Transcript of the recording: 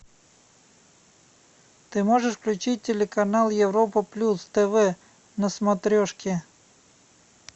ты можешь включить телеканал европа плюс тв на смотрешке